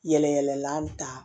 Yɛlɛ yɛlɛla ta